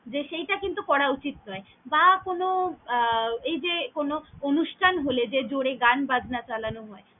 সেইটা কিন্তু করা উচিত নয়, বা কোন আহ এই যে কোন অনুষ্ঠান হলে যে জোরে গান বাজনা চালানো হয়।